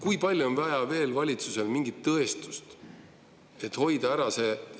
Kui palju on valitsusel veel vaja tõestust, et see ära hoida?